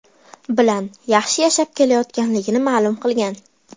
bilan yaxshi yashab kelayotganligini ma’lum qilgan.